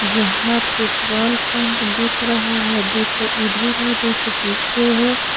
जहाँ petrol pump दिख रहा है दो ठो इधर है दो ठो पीछे है।